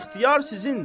İxtiyar sizindir.